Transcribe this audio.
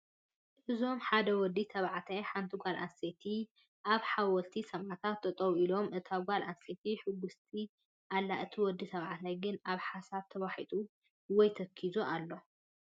እዞም ሓደ ወዲ ተባዕታይን ሓንቲ ጓል ኣነስተይትን ኣብ ሓወልቲ ሰማእታት ጠጠው ኢሎም እታ ጓል ኣነስተይቲ ሕጉስቲ ኣላ እቲ ወዲ ተባዕታይ ግን ኣብ ሓሳብ ተዋሒጡ ወይ ተኪዙ ኣሎ፡፡